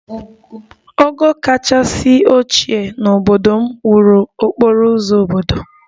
Ogo kachasị ochie n'obodo m wuru okporo ụzọ obodo